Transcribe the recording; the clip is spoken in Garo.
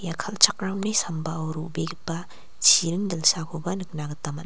kal·chakramni sambao ro·begipa chiring dilsakoba nikna gita man--